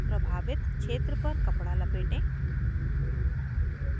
प्रभावित क्षेत्र पर कपडा लपेटें